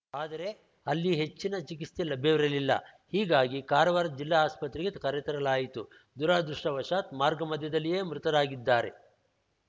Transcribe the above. ಆದರೆ ಅಲ್ಲಿ ಹೆಚ್ಚಿನ ಚಿಕಿತ್ಸೆ ಲಭ್ಯವಿರಲಿಲ್ಲ ಹೀಗಾಗಿ ಕಾರವಾರದ ಜಿಲ್ಲಾ ಆಸ್ಪತ್ರೆಗೆ ಕರೆತರಲಾಯಿತು ದುರಾದೃಷ್ಟವಶಾತ್‌ ಮಾರ್ಗ ಮಧ್ಯದಲ್ಲಿಯೇ ಮೃತರಾಗಿದ್ದಾರೆ